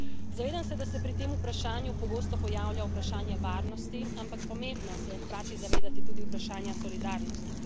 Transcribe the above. Zavedam se, da se pri tem vprašanju pogosto pojavlja vprašanje varnosti, ampak pomembno se je hkrati zavedati tudi vprašanja solidarnosti.